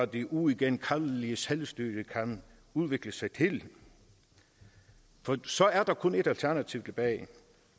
det uigenkaldelige selvstyre kan udvikle sig til for så er der kun ét alternativ tilbage